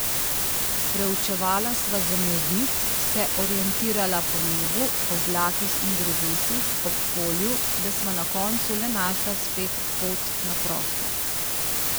Preučevala sva zemljevid, se orientirala po nebu, oblakih in drevesih ob polju, da sva na koncu le našla spet pot na prosto.